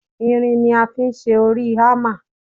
Irin ni a fi ṣe orí Hámà.